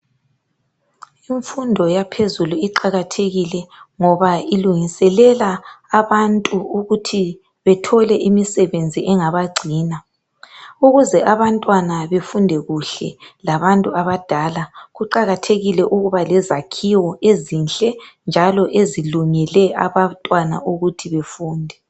Imfundo yaphezulu iqakathekile ngoba ilungiselele abantu ukuthi bethole imisebenzi engabagcina ukuze abantwana befunde kuhle labantu abadala kuqakathekile ukuba lezakhiwo ezinhle njalo ezilungele abantwana ukuthi bafunde.